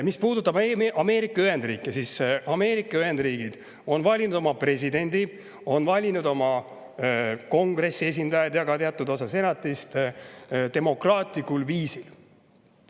Mis puudutab Ameerika Ühendriike, siis Ameerika Ühendriigid on valinud oma presidendi, oma kongressi esindajad ja ka teatud osa senatist demokraatlikul viisil.